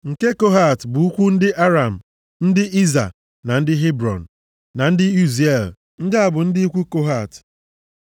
Nke Kohat bụ ikwu ndị Aram, ndị Izha, ndị Hebrọn na ndị Uziel. Ndị a bụ ndị ikwu Kohat.